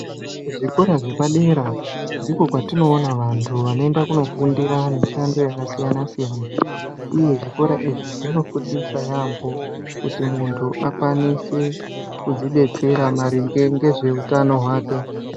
Zvikora zvepadera ndiko kwatinoona vantu vanoenda kundofundira mishando akasiyanasiyana. Uye zvikora izvi zvinofundisa yaambo kuti muntu akwanise kudzibatsira maringe ngezveutano hwake.